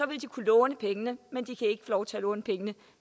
vil de kunne låne pengene men de kan ikke få lov til at låne pengene